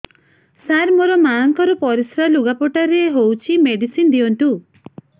ସାର ମୋର ମାଆଙ୍କର ପରିସ୍ରା ଲୁଗାପଟା ରେ ହଉଚି ମେଡିସିନ ଦିଅନ୍ତୁ